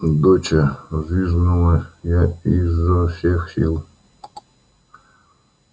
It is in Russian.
доча взвизгнула я изо всех сил